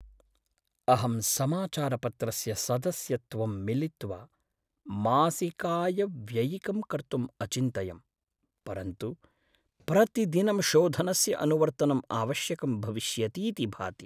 अहं समाचारपत्रस्य सदस्यत्वं मिलित्वा मासिकायव्ययिकं कर्तुम् अचिन्तयं, परन्तु प्रतिदिनं शोधनस्य अनुवर्तनं आवश्यकं भविष्यतीति भाति।